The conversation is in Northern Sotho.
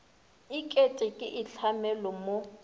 e kete ke itlhamelo mo